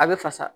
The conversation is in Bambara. A bɛ fasa